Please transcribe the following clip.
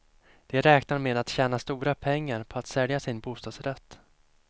De räknar med att tjäna stora pengar på att sälja sin bostadsrätt.